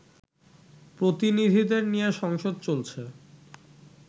প্রতিনিধিদের নিয়ে সংসদ চলছে